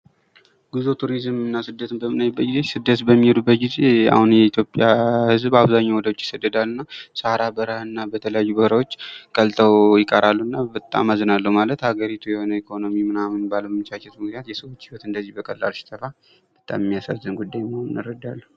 ጉዞ፥ ቱሪዝምና ስደትን በምናይበት ጊዜ ፤ ስደት በሚሄዱበት ጊዜ አሁን የኢትዮጵያ ህዝብ አብዛኛው ወደ ዉጪ ይሄዳል እና ሰሃራ በረሃ እና በተለያዩ በረሀዎች ቀልጠው ይቀራሉና በጣም ያሳዝናሉ። ማለት የሀገሪቱ ኢኮኖሚ ምናምን ባለመመቻቸቱ ምክንያት የሰው ልጆች ህይወት እንደዚህ በቀላሉ ሲጠፋ በጣም የሚያሳዝን ጉዳይ መሆኑን እረዳለሁ።